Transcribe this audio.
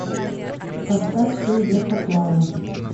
поставь все идет по плану